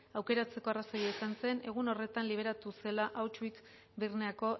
aukeratzeko arrazoia izan zen egun horretan liberatu zela auschwitz